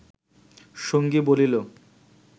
সঙ্গী বলিল